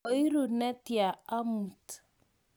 koiru netya amut?